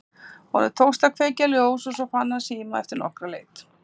Honum tókst að kveikja ljós og svo fann hann síma eftir nokkra leit.